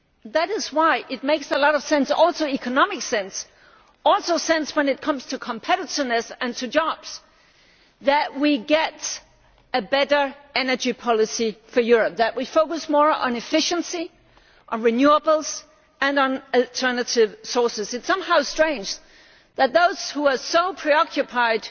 That is why it makes a lot of sense economic sense, as well as sense when it comes to competitiveness and jobs that we get a better energy policy for Europe, that we focus more on efficiency, on renewables and on alternative sources. It is somehow strange that those who are so preoccupied